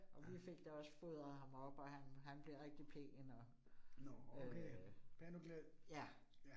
Og vi fik da også fodret ham op og han han blev rigtig pæn og øh ja